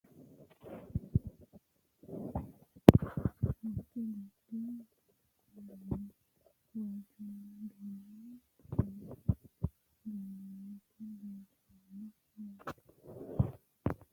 Tinni misile kulittanni noorrinna la'nanniri maattiya yinummoro lowo geeshsha biiffanno fooqe goriddu kuulinni , waajjonna duumme qalame ganoonnitti leelittanno yaatte